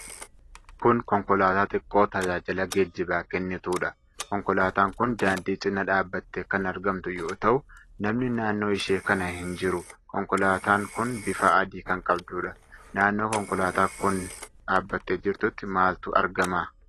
Kun konkolaataa xiqqoo tajaajila geejjibaa kennitudha. Konkolaataan kun daandii cinaa dhaabatte kan argamtu yoo ta'u, namni naannoo ishee kana hin jiru. Konkolaataan kun bifa adii kan qabdudha. Naannoo konkolaataan kun dhaabattee jirtutti maaltu argama?